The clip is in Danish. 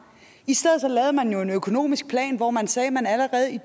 i stedet lavede man en økonomisk plan hvor man sagde at man allerede i